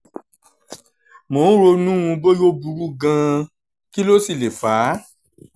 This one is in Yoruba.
mo ń ronú bóyá ó burú gan-an kí ló sì lè fà á